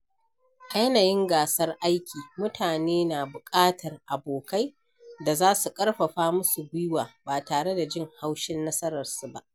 A yanayin gasar aiki, mutane na buƙatar abokai da za su karfafa musu guiwa ba tare da jin haushin nasararsu ba.